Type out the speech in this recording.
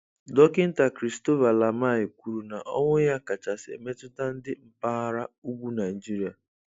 Dokịnta Christopher Lamai kwuru na-ọnwụ ya kachasi metụta ndi mpaghara ụgwụ Naijịrịa